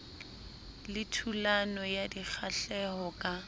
le thulano ya dikgahleho ka